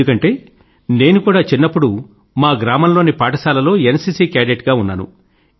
ఎందుకంటే నేను కూడా చిన్నప్పుడు మా గ్రామం లోని పాఠశాల లో ఎన్సీసీ కేడెట్ గా ఉన్నాను